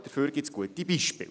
Dafür gibt es gute Beispiele.